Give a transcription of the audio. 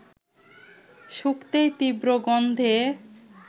শুঁকতেই তীব্র গন্ধে